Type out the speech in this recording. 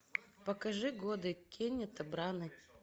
покажи годы кеннета браны